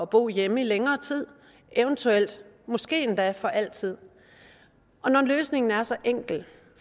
bo hjemme i længere tid eventuelt måske endda altid når løsningen er så enkel